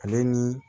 Ale ni